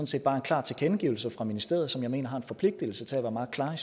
set bare en klar tilkendegivelse fra ministeriet som jeg mener har en forpligtelse til at være meget klare